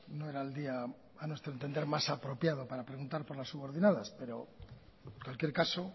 no era el día a nuestro entender más apropiado para preguntar por las subordinadas pero en cualquier caso